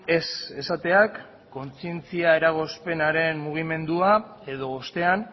ez esateak kontzientzia eragozpenaren mugimendua edo ostean